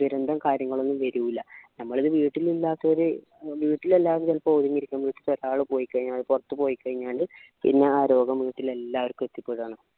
ദുരന്തോം കാര്യങ്ങൾ ഒന്നും വരൂല്ല നമ്മളിത് വീടിൽ ഇല്ലാത്തോര് ഏർ വീട്ടിൽ എല്ലാരു ചിലപ്പോ ഒതുങ്ങി ഇരിക്കുന്നു വെച്ച് ഒരാൾ പോയിക്കഴിഞ്ഞാൽ പുറത്തു പോയിക്കഴിഞ്ഞാൽ പിന്നെ ആ രോഗം വീട്ടിലെ എല്ലാര്ക്കും എത്തിപെടാണ്